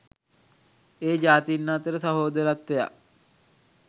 ඒ ජාතීන් අතර සහෝදරත්වයක්